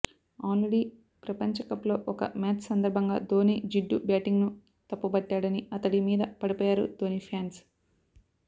already ప్రపంచకప్లో ఒక match సందర్భంగా ధోని జిడ్డు బ్యాటింగ్ను తప్పుబట్టాడని అతడి మీద పడిపోయారు ధోని ఫ్యాన్స్